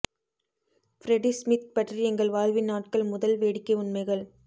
Freddy Smith பற்றி எங்கள் வாழ்வின் நாட்கள் முதல் வேடிக்கை உண்மைகள்